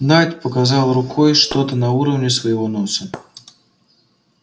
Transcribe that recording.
найд показал рукой что-то на уровне своего носа